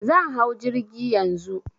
Zan hau jirgi Yanzu.